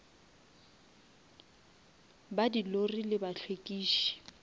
ba di lori le bahlwekiši